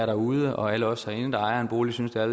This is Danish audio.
derude og alle os herinde der ejer en bolig synes at